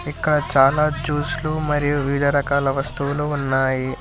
ఇక్కడ చాలా జ్యూస్ లు మరియు వివిధ రకాల వస్తువులు ఉన్నాయి.